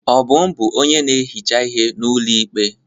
Obum bụ onye na-ehicha ihe n'ụlọ ikpe.